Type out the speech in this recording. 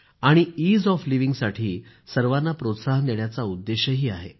आणि ease of लिव्हिंगयासाठी सर्वांना प्रोत्साहन देण्याचा उद्देशही आहे